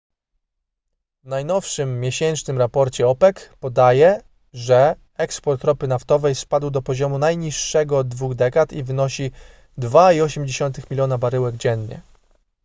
w najnowszym miesięcznym raporcie opec podaje że eksport ropy naftowej spadł do poziomu najniższego od dwóch dekad i wynosi 2,8 miliona baryłek dziennie